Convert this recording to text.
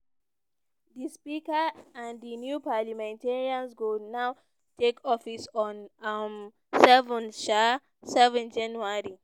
di speaker and di new parliamentarians go now take office on um seven um seven january.